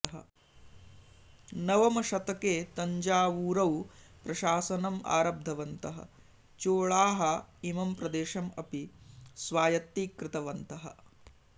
नवमशतके तञ्जावूरौ प्रशासनम् आरब्धवन्तः चोळाः इमं प्रदेशम् अपि स्वायत्तीकृतवन्तः